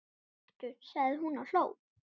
Gettu sagði hún og hló.